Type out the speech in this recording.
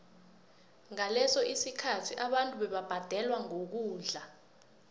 ngaleso sikhathi abantu bebabhadelwa ngokudla